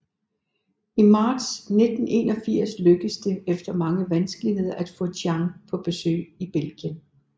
I marts 1981 lykkes det efter mange vanskeligheder at få Tchang på besøg i Belgien